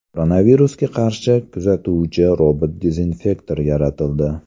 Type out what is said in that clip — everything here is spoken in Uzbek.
Koronavirusga qarshi kurashuvchi robot-dezinfektor yaratildi.